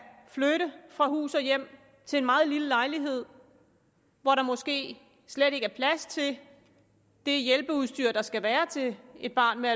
flytte fra hus og hjem til en meget lille lejlighed hvor der måske slet ikke er plads til det hjælpeudstyr der skal være til et barn med